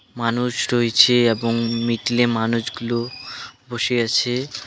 মানুষ রয়েছে এবং মিডিলে মানুষগুলো বসে আছে।